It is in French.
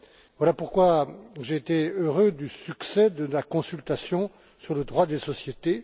Voilà pourquoi j'ai été heureux du succès de la consultation sur le droit des sociétés.